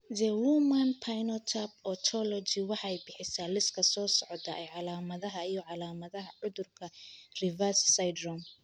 The Human Phenotype Ontology waxay bixisaa liiska soo socda ee calaamadaha iyo calaamadaha cudurka Revesz syndrome.